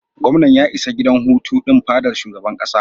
Gwamnan ya isa gidan hutu din fadar shugaban kasa.